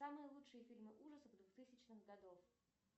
самые лучшие фильмы ужасов в двухтысячном году